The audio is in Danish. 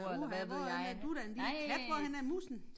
Uha hvorhenne er du da en lille kat hvorhenne er musen